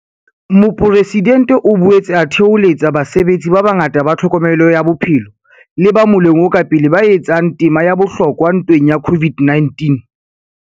Mopresidentse o boetse a thoholetsa basebetsi ba bangata ba tlhokomelo ya bophelo le ba moleng o ka pele ba etsang tema ya bohlokwa ntweng ya COVID-19.